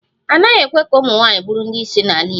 A naghị ekwe ka ụmụnwaanyị bụrụ ndị isi n'ala Igbo